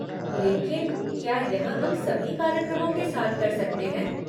लेकिन क्या यह हम सभी कार्यक्रमों के साथ कर सकते?